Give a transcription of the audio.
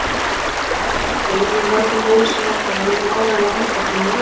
Kvíðinn fyrir nýjum degi með mörgum óleystum vandamálum mun áreiðanlega halda fyrir henni vöku.